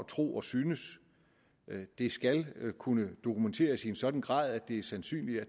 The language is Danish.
tro og synes det skal kunne dokumenteres i en sådan grad at det er sandsynligt at